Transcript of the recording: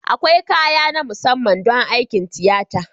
Akwai kaya na musamman don aikin tiyata